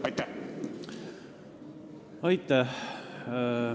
Aitäh!